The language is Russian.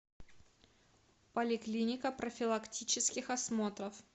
поликлиника профилактических осмотров